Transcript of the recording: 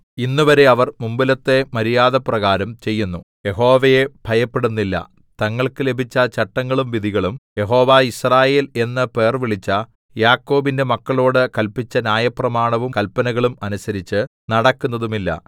ഇന്നുവരെ അവർ മുമ്പിലത്തെ മര്യാദപ്രകാരം ചെയ്യുന്നു യഹോവയെ ഭയപ്പെടുന്നില്ല തങ്ങൾക്ക് ലഭിച്ച ചട്ടങ്ങളും വിധികളും യഹോവ യിസ്രായേൽ എന്ന് പേർവിളിച്ച യാക്കോബിന്റെ മക്കളോട് കല്പിച്ച ന്യായപ്രമാണവും കല്പനകളും അനുസരിച്ച് നടക്കുന്നതുമില്ല